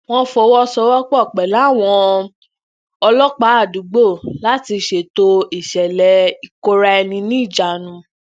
wón fọwọsowọpọ pẹlú àwọn ọlọpàá àdúgbò láti ṣètò ìṣẹlẹ ìkóraẹniníjàánu